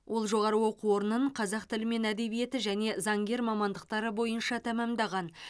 ол жоғары оқу орнын қазақ тілі мен әдебиеті және заңгер мамандықтары бойынша тәмамдаған